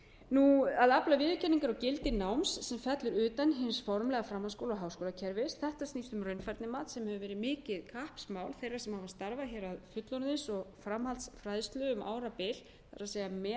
f að afla viðurkenningar á gildi náms sem fellur utan hins formlega framhaldsskóla og háskólakerfis þetta snýst um raunfærnimat sem hefur verið mikið kappsmál þeirra sem hafa starfað hér að fullorðins og framhaldsfræðslu um árabil það er að meta